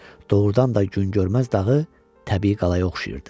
Doğrudan da Gün görməz dağı təbii qalaya oxşayırdı.